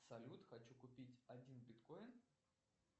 салют хочу купить один биткоин